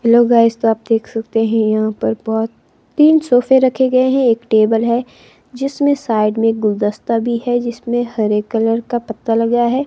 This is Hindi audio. हेलो गाइस तो आप देख सकते हैं यहां पर बहुत तीन सोफे रखे गए हैं एक टेबल है जिसमें साइड में गुलदस्ता भी है जिसमें हरे कलर का पत्ता लगा है।